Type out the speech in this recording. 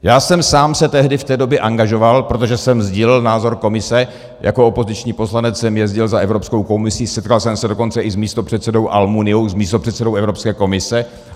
Já sám jsem se tehdy v té době angažoval, protože jsem sdílel názor komise, jako opoziční poslanec jsem jezdil za Evropskou komisí, setkal jsem se dokonce i s místopředsedou Almuniou, s místopředsedou Evropské komise.